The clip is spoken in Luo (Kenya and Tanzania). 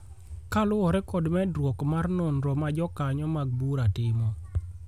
kaluwore kod medruok mar nonro ma jokanyo mag bura timo